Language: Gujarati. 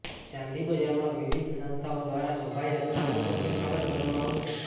ચાંદી બજારમાં વિવિધ સંસ્થાઓ દ્વારા શોભાયાત્રાનું ભવ્ય સ્વાગત કરવામાં આવશે